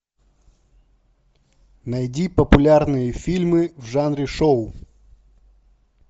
найди популярные фильмы в жанре шоу